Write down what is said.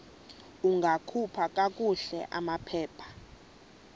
ungakhupha kakuhle amaphepha